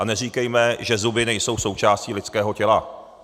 A neříkejme, že zuby nejsou součástí lidského těla.